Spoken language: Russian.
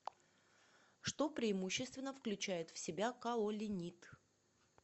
что преимущественно включает в себя каолинит